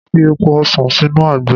Màá fi èpo ọsàn sínú àgbo.